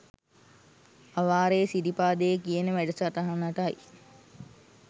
අවාරේ සිරිපාදේ කියන වැඩ සටහනටයි